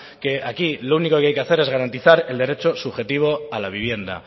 que aquí lo único que hay que hacer es garantizar el derecho subjetivo a la vivienda